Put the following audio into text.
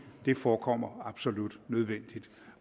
det forekommer absolut nødvendigt